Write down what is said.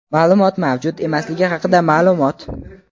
maʼlumot mavjud emasligi haqida maʼlumot.